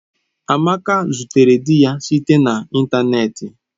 Amaka zutere di ya site na ịntanetị.